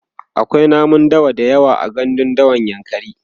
akwai namun dawa da yawa a gandun dawan yankari